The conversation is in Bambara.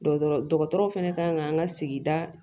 Dɔtɔrɔ fɛnɛ ka kan an ka sigida